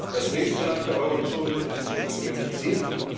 Das nächste Land der Eurozone ist schon in ihrem Visier.